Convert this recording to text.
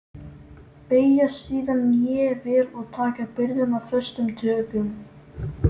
Beygja síðan hné vel og taka byrðina föstum tökum.